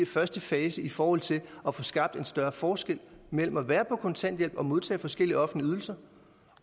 første fase i forhold til at få skabt en større forskel mellem at være på kontanthjælp og modtage forskellige offentlige ydelser